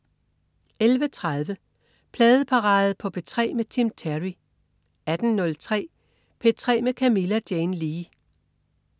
11.30 Pladeparade på P3 med Tim Terry 18.03 P3 med Camilla Jane Lea